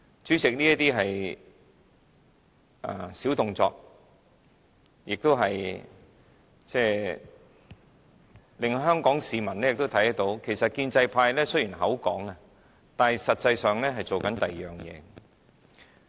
主席，這些是小動作，也令香港市民看到建制派經常說一套，但實際上卻在做另一套。